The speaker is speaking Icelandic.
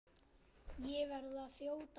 Ég verð að þjóta núna.